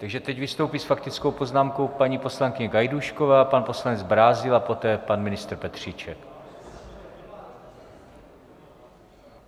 Takže teď vystoupí s faktickou poznámkou paní poslankyně Gajdůšková, pan poslanec Brázdil a poté pan ministr Petříček.